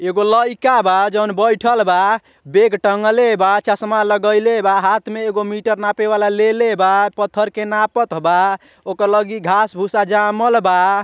एगो लइका बा जउन बइठल बा बेग टँगले बा चश्मा लगैले बा हाथ में एगो मीटर नापे वाला लेलेबा पत्थर के नापत बा ओके लगे घास भूसा जामल बा।